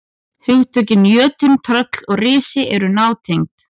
Hugtökin jötunn, tröll og risi eru nátengd.